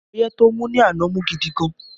Ọyẹ́ tó mú ní àná mú gidi gan